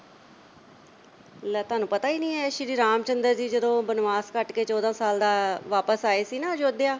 ਲੈ ਤੁਹਾਨੂੰ ਪਤਾ ਹੀ ਨਹੀਂ ਐ ਇਹ ਸ਼੍ਰੀ ਰਾਮ ਚੰਦਰ ਜੀ ਜਦੋਂ ਬਨਵਾਸ ਕੱਟ ਕੇ ਚੌਦਾਂ ਸਾਲ ਦਾ ਵਾਪਿਸ ਆਏ ਸੀ ਨਾ ਆਯੋਧਿਆ